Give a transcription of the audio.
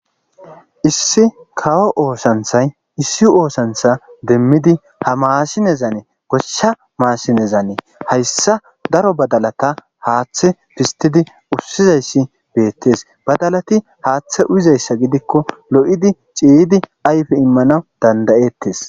issi kawo oosanthay issi oosantha demmidi ha maasinezane goshsha maasinezanee hayssa daro badalata haaththe fistidi ussizayssi beettes badalati haaththe uyizayssa gidikko lo'idi ciydi ayfe immana danda'ettes